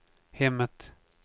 hemmet